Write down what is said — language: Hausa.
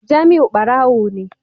Jamiu barawo ne